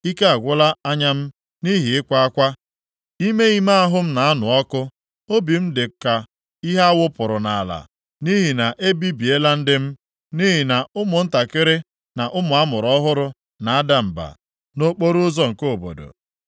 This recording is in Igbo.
Ike agwụla anya m nʼihi ịkwa akwa, ime ime ahụ m na-anụ ọkụ. Obi m dị ka ihe a wụpụrụ nʼala, nʼihi na e bibiela ndị m, nʼihi na ụmụntakịrị na ụmụ a mụrụ ọhụrụ na-ada mba nʼokporoụzọ nke obodo.